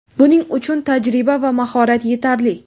Buning uchun tajriba va mahorat yetarli.